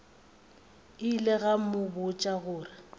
ile ka go botša gore